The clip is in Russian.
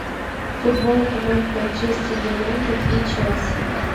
футбол команд манчестер юнайтед и челси